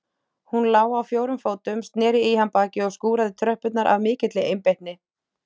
Hún lá á fjórum fótum, snéri í hann baki og skúraði tröppurnar af mikilli einbeitni.